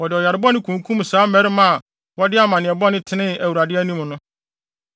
wɔde ɔyare bɔne kunkum saa mmarima a wɔde amanneɛ bɔne tenee wɔ Awurade anim no.